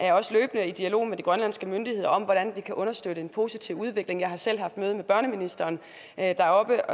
er i dialog med de grønlandske myndigheder om hvordan vi kan understøtte en positiv udvikling jeg har selv haft møde med børneministeren deroppe